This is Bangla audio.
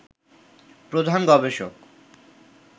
প্রধান গবেষক